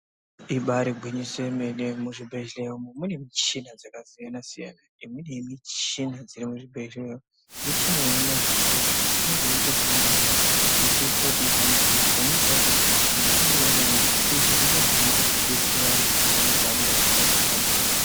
Ibaari gwinyiso yemene ,muzvibhehleya mune michini yakasiyana siyana imweni inobetsera varwere kuti vahambe ndiyo.